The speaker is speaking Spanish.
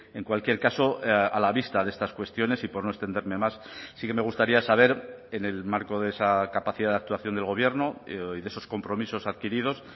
en cualquier caso a la vista de estas cuestiones y por no extenderme más sí que me gustaría saber en el marco de esa capacidad de actuación del gobierno y de esos compromisos adquiridos